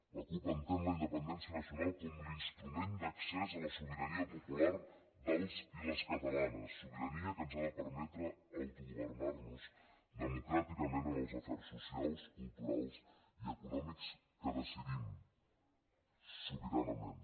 la cup entén la independència nacional com l’instrument d’accés a la sobirania popular dels i les catalanes sobirania que ens ha de permetre autogovernar nos democràticament en els afers socials culturals i econòmics que decidim sobiranament